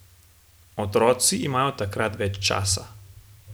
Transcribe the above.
Otroci imajo takrat več časa.